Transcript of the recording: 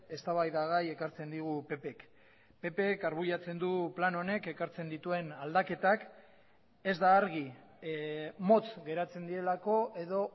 eztabaidagai ekartzen digu ppk ppk argudiatzen du plan honek ekartzen dituen aldaketak ez da argi motz geratzen direlako edo